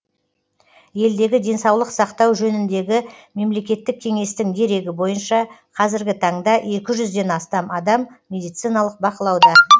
елдегі денсаулық сақтау жөніндегі мемлекеттік кеңестің дерегі бойынша қазіргі таңда екі жүзден астам адам медициналық бақылауда